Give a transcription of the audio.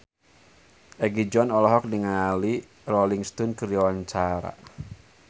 Egi John olohok ningali Rolling Stone keur diwawancara